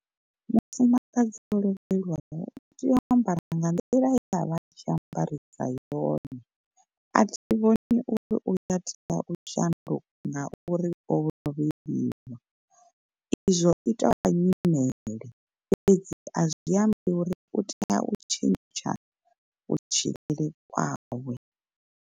Mufumakadzi o lovhelwaho u tea u ambara nga nḓila ye avha atshi ambarisa yone. A thi vhoni uri uya tea u shanduka ngauri o lovheliwa, izwo itovha nyimele fhedzi azwi ambi uri u tea u tshentsha kutshilele kwawe.